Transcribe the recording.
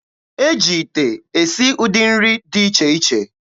E ji ite esi ụdị nri dị iche iche.